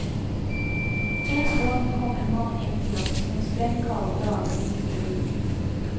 En gang kom en mann inn til oss en sprengkald dag like før jul.